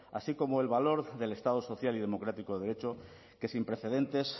así como el valor del estado social y democrático de derecho que sin precedentes